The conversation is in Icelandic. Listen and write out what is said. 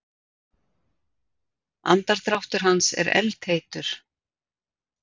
Andardráttur hans er eldheitur.